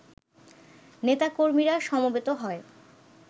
নেতা-কর্মীরা সমবেত হয়